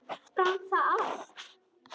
Brann það allt?